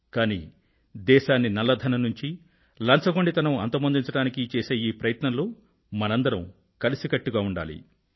కానీ దేశాన్ని నల్ల ధనం నుంచి లంచగొండితనం అంతమొందించడానికి చేసే ఈ ప్రయత్నంలో మనందరం కలిసికట్టుగా ఉండాలి